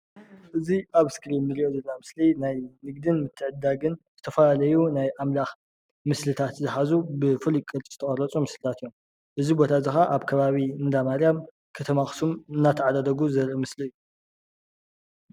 እዙይ ኣብ እስክሪን እንርእዮ ዘለና ምስሊ ናይ ንግዲን ምትዕድዳግን ዝተፈላለዩ ናይ ኣምላክ ምስልታት ዝሓዙ ብፉልይ ቅርፂ ዝተቀረፁ ምስልታት እዮም። እዙይ ቦታ ከዓ ኣብ ከባቢ እንዳ ማርያም ከተማ ኣክሱም እናተዓዳደጉ ዘሪኢ ምስሊ እዩ።